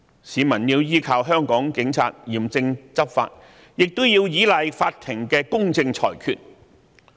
市民要依靠香港警察嚴正執法，亦要依賴法庭的公正裁決。